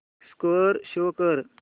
score show कर